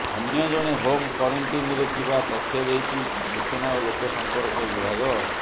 ଅନ୍ୟଜଣେ ହୋମ କ୍ୱାରେଣ୍ଟିନରେ ଥିବା ତଥ୍ୟ ଦେଇଛି ସୂଚନା ଓ ଲୋକ ସଂପର୍କ ବିଭାଗ